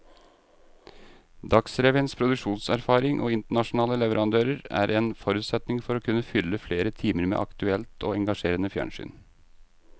Dagsrevyens produksjonserfaring og internasjonale leverandører er en forutsetning for å kunne fylle flere timer med aktuelt og engasjerende fjernsyn.